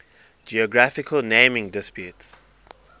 geographical naming disputes